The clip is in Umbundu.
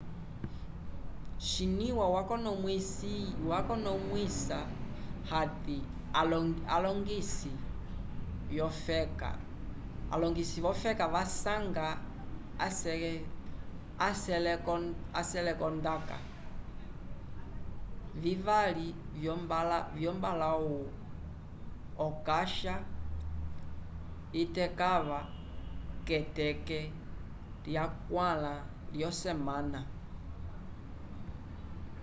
xinywa yakonomwisa hati alongisi vyofeka vasanga aselekondaka vivali lyombalãwu okasha itekãva k'eteke lyakwãla lyosemana